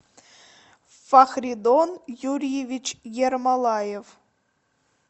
фахридон юрьевич ермолаев